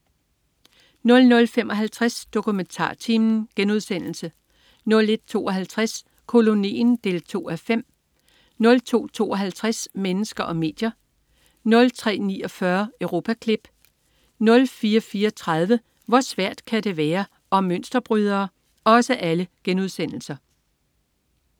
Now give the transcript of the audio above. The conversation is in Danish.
00.55 DokumentarTimen* 01.52 Kolonien 2:5* 02.52 Mennesker og medier* 03.49 Europaklip* 04.34 Hvor svært kan det være? Om mønsterbrydere*